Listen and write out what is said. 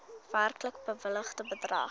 werklik bewilligde bedrag